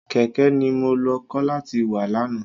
Kẹ̀kẹ́ ni mo lọ kọ́ láti wà lánàá.